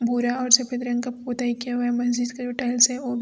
भूरा और सफेद रंग का पता ना क्या है ।